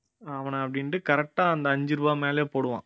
அவனை அப்படின்ட்டு correct ஆ அந்த அஞ்சு ரூபாய் மேலயே போடுவான்